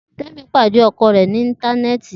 Temi pade ọkọ rẹ ni intanẹẹti.